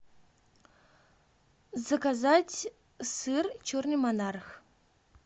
заказать сыр черный монарх